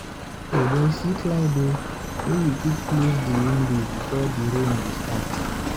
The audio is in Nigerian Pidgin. O boy, see cloud o! Make we quick close di window before di rain go start!